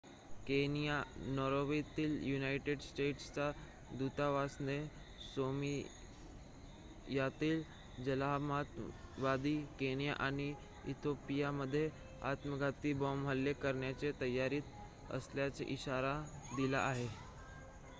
"Kenya नैरोबीतील United स्टेट्सच्या दुतावासाने "सोमालियातील जहालमतवादी" केनिया आणि इथिओपियामध्ये आत्मघाती बॉम्ब हल्ले करण्याच्या तयारीत असल्याचा इशारा दिला आहे.